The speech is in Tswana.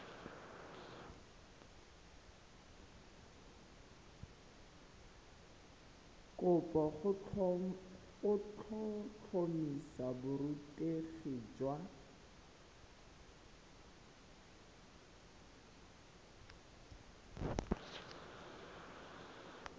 kopo go tlhotlhomisa borutegi jwa